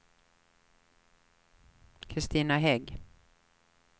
Kristina Hägg